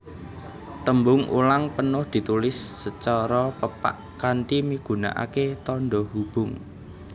Tembung ulang penuh ditulis sacara pepak kanthi migunakaké tandha hubung